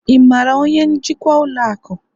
ị maara onye njikwa ụlọ akụ?